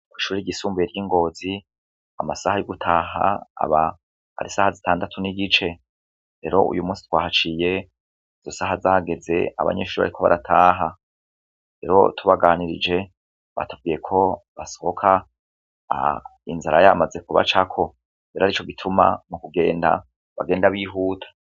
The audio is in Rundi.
Kw'ishuri ryisumbuye ry'i Ngozi amasaha yo gutaha aba hari isaha zitandatu n'igice rero, uyu munsi twahaciye izo saha zageze abanyeshuri bariko barataha rero tubaganirije batubwiye ko basohoka inzara yamaze kubacako rero arivyo bituma mu kugenda bagenda bihuta.